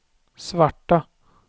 svarta